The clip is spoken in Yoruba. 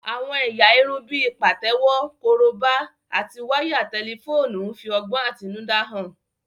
Àwọn ẹ̀yà irun bíi pàtẹ́wọ́, korobá, àti wáyà tẹlifóònù ń fi ọgbọ́n àtinúdá hàn